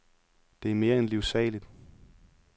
Det er mere end livsaligt.